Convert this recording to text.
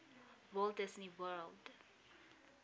walt disney world